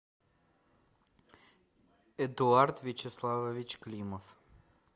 эдуард вячеславович климов